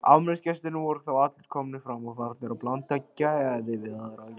Afmælisgestirnir voru þá allir komnir fram og farnir að blanda geði við aðra gesti.